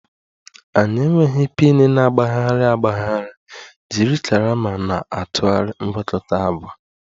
Anyị enweghị pin na-agbagharị agbagharị, jiri karama na-atụgharị mgwakota agwa